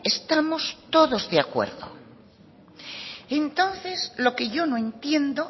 estamos todos de acuerdo entonces lo que yo no entiendo